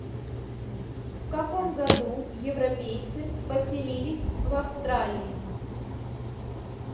в каком году европейцы поселились в австралии